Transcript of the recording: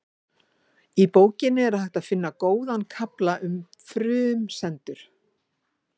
Í bókinni er hægt að finna góðan kafla um frumsendur.